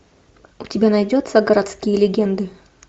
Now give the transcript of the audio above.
у тебя найдется городские легенды